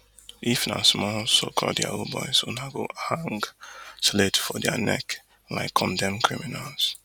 if na small socalled yahoo boys una go hang slate for dia neck like condemned criminals